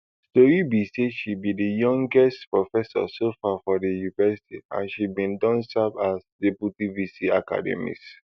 tori be say she be di youngest professor so far for di university and she bin don serve as deputy vc academics